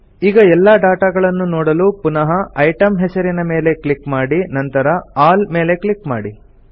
ಈಗ ಎಲ್ಲಾ ಡಾಟಾಗಳನ್ನು ನೋಡಲು ಪುನಃ ಇಟೆಮ್ ಹೆಸರಿನ ಸೆಲ್ ಮೇಲೆ ಕ್ಲಿಕ್ ಮಾಡಿ ನಂತರ ಆಲ್ ಮೇಲೆ ಕ್ಲಿಕ್ ಮಾಡಿ